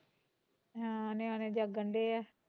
ਹਾਂ ਨਿਆਣੇ ਜਾਗਣ ਡਏ ਐ